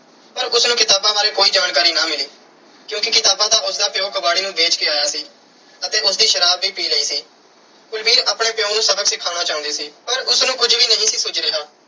ਪਰ ਉਸ ਨੂੰ ਕਿਤਾਬਾਂ ਬਾਰੇ ਕੋਈ ਜਾਣਕਾਰੀ ਨਾ ਮਿਲੀ ਕਿਉਂਕਿ ਕਿਤਾਬਾਂ ਤਾਂ ਉਸ ਦਾ ਪਿਉ ਕਬਾੜੀ ਨੂੰ ਵੇਚ ਕੇ ਆਇਆ ਸੀ ਅਤੇ ਉਸ ਦੀ ਸ਼ਰਾਬ ਵੀ ਪੀ ਲਈ ਸੀ। ਕੁਲਵੀਰ ਆਪਣੇ ਪਿਉ ਨੂੰ ਸਬਕ ਸਿਖਾਉਣਾ ਚਾਹੁੰਦੀ ਸੀ ਪਰ ਉਸ ਨੂੰ ਕੁਝ ਵੀ ਨਹੀਂ ਸੀ ਸੁੱਝ ਰਿਹਾ।